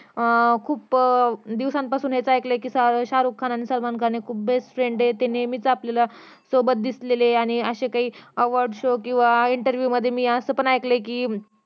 अं खूप दिवसांपासून हेच एकल कि शारुख खान आणि सलमान खान हे खुप best friend ये ते नेहमीच आपल्यला सोबत दिसलेले आणि असे काही award show किंवा काही interview मध्ये असं काही ऐकलं कि